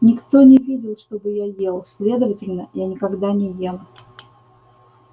никто не видел чтобы я ел следовательно я никогда не ем